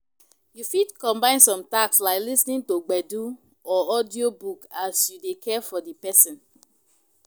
You fit combine some tasks like lis ten ing to gbedu or audio book as you dey care for di person